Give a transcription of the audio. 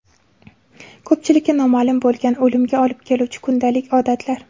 Ko‘pchilikka noma’lum bo‘lgan o‘limga olib keluvchi kundalik odatlar .